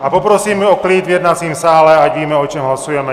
A poprosím o klid v jednacím sále, ať víme, o čem hlasujeme.